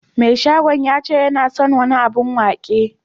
Mai shagon yace yana son wani abun waki.